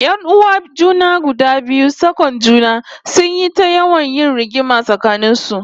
Yan'uwan junan guda biyu sak'on juna, sun yi ta yawan yin rigima tsakanin su